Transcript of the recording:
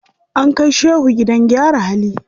An kai shehu gidan gyara hali.